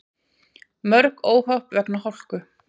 Mörg óhöpp vegna hálku